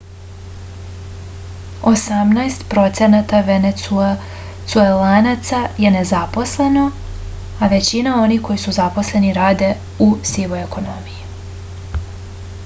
osamnaest procenata venecuelanaca je nezaposleno a većina onih koji su zaposleni rade u sivoj ekonomiji